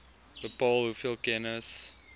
bepaal hoeveel kennis